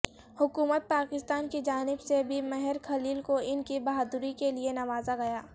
حکومت پاکستان کی جانب سے بھی مہر خلیل کو انکی بہادری کے لیے نوازہ گیا